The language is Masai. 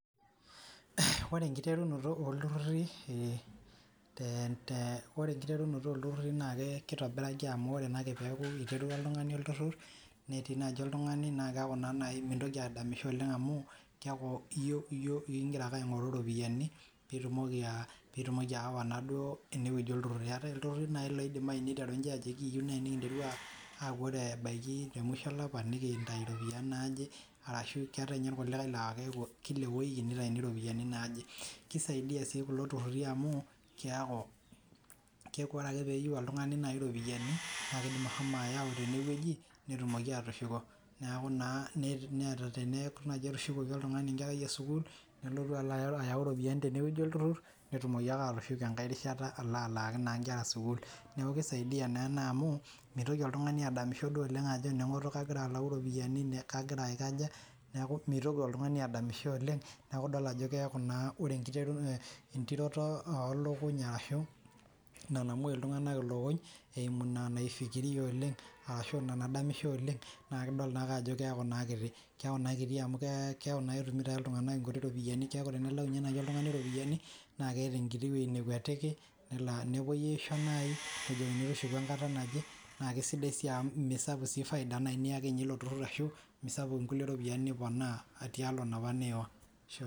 Ore nkiterunoto olturruri naa keitobiraki amu oree naake peaku eitobira oltungani olturrur, netii naaji oltungani naa keaku naa nai mintoki adamisho oleng amu keaku iyook igira ake aing'oru iropiyiani piitumoki aawa naa duo ewueji olturruri, eatae ilturruri nai loidimai neitaru ninche ajo ekiiyeu nai nikinteru aaku ore ebaki emusho elapa niintai iropiyiani naaje arashu keatae ninye lkulikae naa kila ewueji neitaini iropiyiani naaje. Keisaidia sii kulo ilturruri amu keaku ore ake peeyeu oltungani iropiyiani naa indim ashomo ayau teineweji netumoki aatushuko, neaku naa neata teneaku etushukoki oltungani nkerai osukuul nelotu alo ayau iropiyiani teineweji olturrur, netumoki ake atusuja enkae rishata alo alaaki inkera sukuul. Neaku keisaidia naa ena amu meitoki oltungani duo adamisho duo oleng ajo kegira alau iropiyiani naa kegira aikoja, Naaku meitoki oltungani adamisho oleng, naaku idol ajo keaku naa ore inturoto oolokuny ashu ina namoi iltungana lokuny eimu ina naifikiria oleng ashu ina nadamisho oleng naa kidol naake ajo keaku naa kiti, keaku naa kiti amu keaku naa etumuto ake iltungana nkuti iropiyiani, keaku tenilau ninye iltungani iropiyiani naa keeta enkiti wueji nekwetiki, nelo nepoi aisho nai ,nejikini tushuku enkata naje, naa kesidai sii amu mee esapuk sii ifaida nalo ilo turrur atum, esapuk nkulie iropiyiani naa tia olong' naapa niiwa.